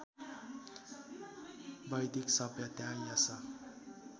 वैदिक सभ्यता यस